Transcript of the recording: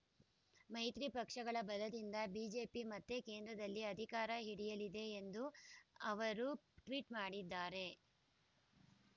ಮೈತ್ರಿ ಪಕ್ಷಗಳ ಬಲದಿಂದ ಬಿಜೆಪಿ ಮತ್ತೆ ಕೇಂದ್ರದಲ್ಲಿ ಅಧಿಕಾರ ಹಿಡಿಯಲಿದೆ ಎಂದು ಅವರು ಟ್ವೀಟ್ ಮಾಡಿದ್ದಾರೆ